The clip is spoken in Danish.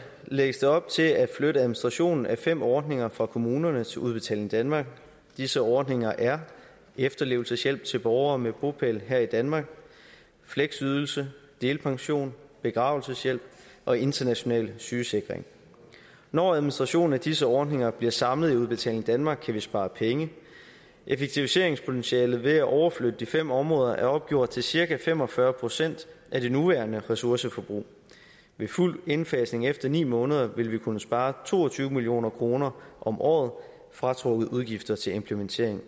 lægges der op til at flytte administrationen af fem ordninger fra kommunerne til udbetaling danmark disse ordninger er efterlevelseshjælp til borgere med bopæl her i danmark fleksydelse delpension begravelseshjælp og international sygesikring når administrationen af disse ordninger bliver samlet i udbetaling danmark kan vi spare penge effektiviseringspotentialet ved at overflytte de fem områder er opgjort til cirka fem og fyrre procent af det nuværende ressourceforbrug ved fuld indfasning efter ni måneder vil vi kunne spare to og tyve million kroner om året fratrukket udgifter til implementering